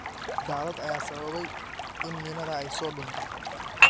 Daadad ayaa sababay in miinada ay soo dunto.